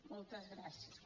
moltes gràcies